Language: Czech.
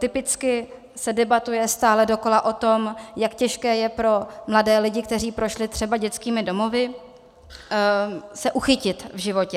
Typicky se debatuje stále dokola o tom, jak těžké je pro mladé lidi, kteří prošli třeba dětskými domovy, se uchytit v životě.